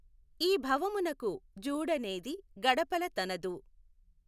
ఈభవమునకు జూడ నేది గడపల తనదు